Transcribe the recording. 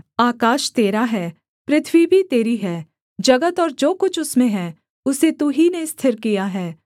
आकाश तेरा है पृथ्वी भी तेरी है जगत और जो कुछ उसमें है उसे तू ही ने स्थिर किया है